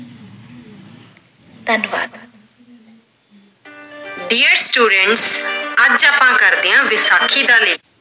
ਧੰਨਵਾਦ। dear students ਅੱਜ ਆਪਾਂ ਕਰਦੇ ਆ ਵਿਸਾਖੀ ਦਾ ਲੇਖ।